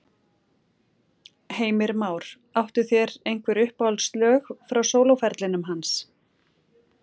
Heimir Már: Áttu þér einhver uppáhaldslög frá sólóferlinum hans?